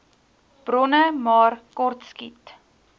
bronne maar kortskiet